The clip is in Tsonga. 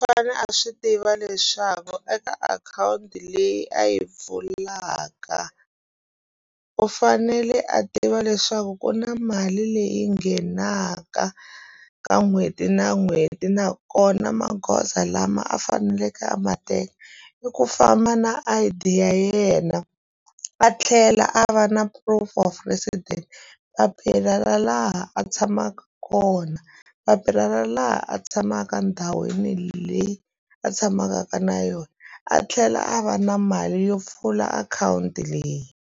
a swi tiva leswaku eka akhawunti leyi a yi pfulaka u fanele a tiva leswaku ku na mali leyi nghenaka ka n'hweti na n'hweti nakona magoza lama a faneleke a ma teka i ku famba na I_D ya yena a tlhela a va na proof of resident papila ra laha a tshamaka kona papila ra laha a tshamaka ndhawini leyi a tshamaka ka na yona a tlhela a va na mali yo pfula akhawunti leyi.